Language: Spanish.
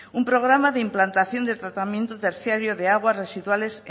un programa de implantación del tratamiento terciario de aguas residuales